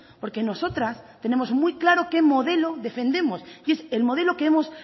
porque nosotras tenemos muy claro qué modelo defendemos y es el modelo que hemos